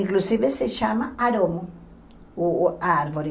Inclusive, se chama aroma, o a árvore.